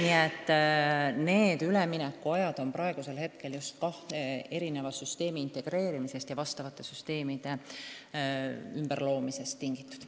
Nii et need jõustumisajad on suures osas tingitud eri süsteemide integreerimisest ja üldse ümbertegemisest.